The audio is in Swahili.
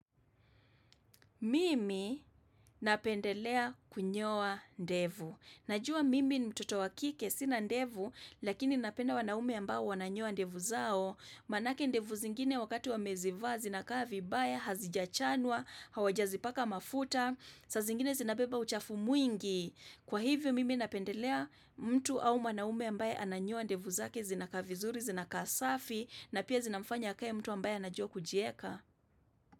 Mimi,,,, napendelea kunyoa ndevu. Najua mimi ni mtoto wa kike sina ndevu, lakini napenda wanaume ambao wananyoa ndevu zao. Manake ndevu zingine wakati wamezivaa, zinakaa vibaya, hazijachanwa, hawajazi paka mafuta, saa zingine zinabeba uchafu mwingi! Kwa hivyo mimi napendelea mtu au mwanaume ambaye ananyoa ndevu zake zinakaa vizuri, zinakaa safi, na pia zinamfanya akae mtu ambaye anajua kujieka.